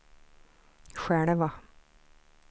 själva